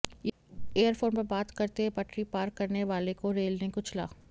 year phone पर बात करते पटरी पार करने वाले को रेल ने कुचला